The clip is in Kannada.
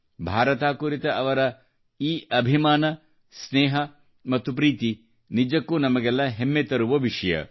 ಭಾರತ ಕುರಿತ ಈ ಬಗೆಯ ಅವರ ಅಭಿಮಾನ ಸ್ನೇಹ ಮತ್ತು ಪ್ರೀತಿ ನಿಜಕ್ಕೂ ನಮಗೆಲ್ಲಾ ಹೆಮ್ಮೆ ತರುವ ವಿಷಯ